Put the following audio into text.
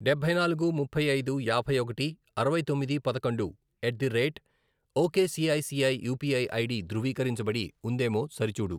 డబ్బై నాలుగు, ముప్పై ఐదు, యాభై ఒకటి, అరవై తొమ్మిది, పదకొండు, at the rate ok ICICI UPI ID ధృవీకరించబడి ఉందేమో సరిచూడు.